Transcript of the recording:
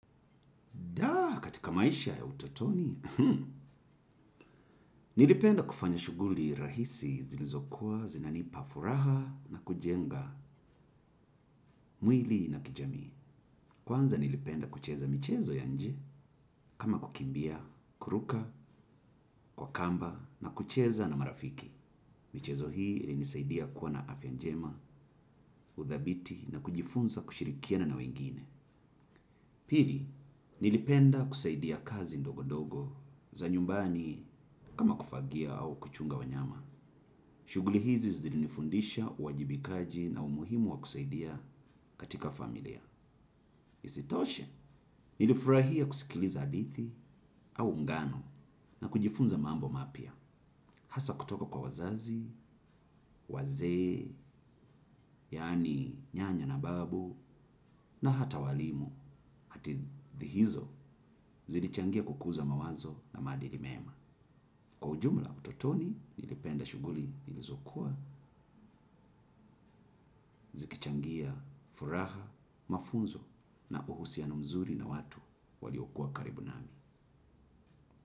Dah! Katika maisha ya utotoni, nilipenda kufanya shughuli rahisi zilizokuwa zinanipa furaha na kujenga mwili na kijamii. Kwanza nilipenda kucheza michezo ya nje, kama kukimbia, kuruka, kwa kamba na kucheza na marafiki. Michezo hii ilinisaidia kuwa na afya njema, kuthabiti na kujifunza kushirikiana na wengine. Pili, nilipenda kusaidia kazi ndogo ndogo za nyumbani kama kufagia au kuchunga wanyama. Shughuli hizi zilinifundisha uwajibikaji na umuhimu wa kusaidia, katika familia. Isitoshe, nilifurahia kusikiliza hadithi au ngano na kujifunza mambo mapya. Hasa kutoka kwa wazazi, wazee, yaani nyanya na babu na hata walimu. Hadithi hizo, zilichangia kukuza mawazo na maadili mema. Kwa ujumla utotoni, nilipenda shughuli nilizokuwa, zikichangia, furaha, mafunzo na uhusiano mzuri na watu waliokuwa karibu nami.